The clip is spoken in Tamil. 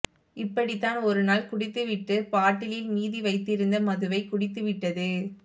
இப்படித்தான் ஒருநாள் குடித்து விட்டு பாட்டிலில் மீதி வைத்திருந்த மதுவை குடித்து விட்டது